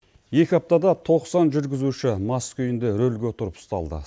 екі аптада тоқсан жүргізуші мас күйінде рөлге отырып ұсталды